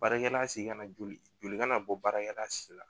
Baarakɛla segin na joli kana bɔ baarakɛla si la